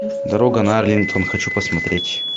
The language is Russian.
дорога на арлингтон хочу посмотреть